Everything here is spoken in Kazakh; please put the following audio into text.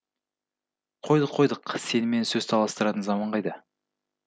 қойдық қойдық сенімен сөз таластыратын заман қайда